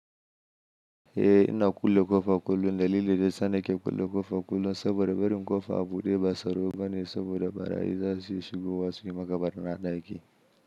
Eh, ina kulle ƙofa kullum dalili da yasa nake kulle ƙofa kullum saboda barin ƙofa a buɗe ba tsaro bane saboda barayi zasu shigo wasu yi ma ka barina daki.